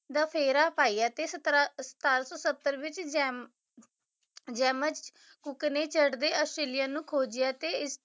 ਦਾ ਫੇਰਾ ਪਾਇਆ ਤੇ ਸਤਰਾ ਸਤਾਰਾਂ ਸੌ ਸੱਤਰ ਵਿੱਚ ਜੈਬ ਨੇ ਚੜਦੇ ਆਸਟ੍ਰੇਲੀਆ ਨੂੰ ਖੋਜਿਆ ਤੇ